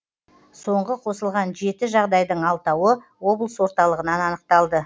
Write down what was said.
соңғы қосылған жеті жағдайдың алтауы облыс орталығынан анықталды